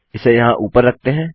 इसे यहाँ ऊपर रखते हैं